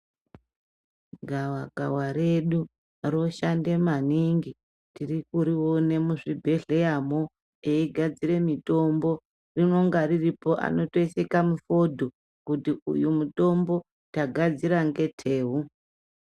Gavakava redu roshande maningi tirikuriona muzvibhedhleyamwo eigadzira mitombo rinonge riripo anotoise kamufedhu kuti uyu mutombo tagadzira ngetewu.